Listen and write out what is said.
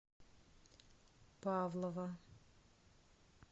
павлово